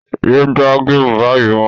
Yé gbá géèmù báyìí mọ́